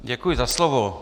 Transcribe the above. Děkuji za slovo.